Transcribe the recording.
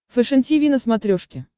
фэшен тиви на смотрешке